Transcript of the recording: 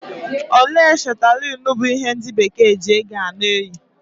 Ọla chetalinu bụ ihe ndị Bekee ji ego a na-eyi.